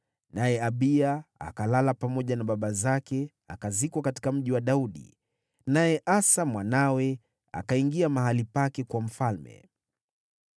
Naye Abiya akalala na baba zake akazikwa katika Mji wa Daudi. Asa mwanawe akawa mfalme baada yake.